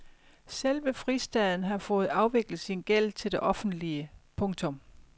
Selve fristaden har fået afviklet sin gæld til det offentlige. punktum